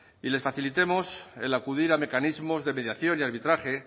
y les facilitemos el acudir a mecanismos de mediación y arbitraje